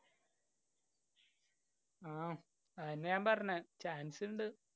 ആഹ് അതെന്നെ ഞാന്‍ പറഞ്ഞ്. chance ഇണ്ട്.